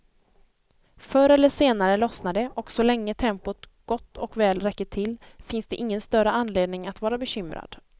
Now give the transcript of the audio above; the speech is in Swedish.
Förr eller senare lossnar det och så länge tempot gott och väl räcker till, finns det ingen större anledning att vara bekymrad.